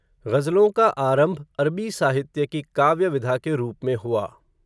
ग़ज़लों का आरंभ, अरबी साहित्य की काव्य विधा के रूप में हुआ